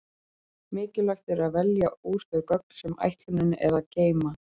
Mikilvægt er að velja úr þau gögn sem ætlunin er að geyma.